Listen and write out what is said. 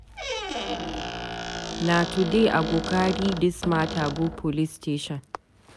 Na today I go carry dis mata go police station.